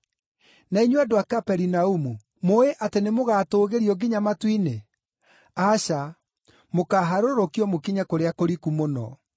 Na inyuĩ, andũ a Kaperinaumu, mũũĩ atĩ nĩmũgatũũgĩrio nginya matu-inĩ? Aca, mũkaaharũrũkio mũkinye kũrĩa kũriku mũno.